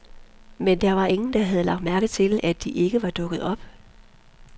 Men der var ingen, der havde lagt mærke til, at de ikke var dukket op.